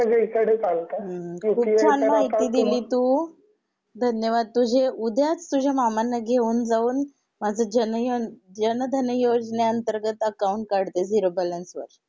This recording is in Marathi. हू हू किती छान माहिती दिली तू धन्यवाद तुझे उद्याच तुझ्या मामांना घेऊन जाऊन माझं जनयन जनधन योजने अंतर्गत अकॉउंट काढते झीरो बॅलेन्स वर